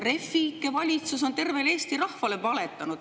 Refi ikke valitsus on tervele Eesti rahvale valetanud.